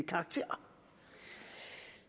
karakter